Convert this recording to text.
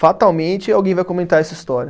Fatalmente alguém vai comentar essa história.